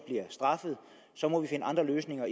bliver straffet så må vi finde andre løsninger